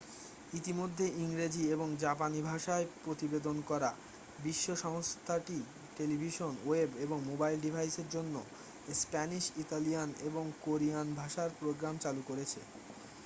ইতিমধ্যে ইংরেজি এবং জাপানি ভাষায় প্রতিবেদন করা বিশ্ব সংস্থাটি টেলিভিশন ওয়েব এবং মোবাইল ডিভাইসের জন্য স্প্যানিশ ইতালিয়ান এবং কোরিয়ান ভাষার প্রোগ্রাম চালু করছে